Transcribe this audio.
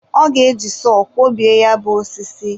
o ga-eji sọ kwọbie ya bụ osisi.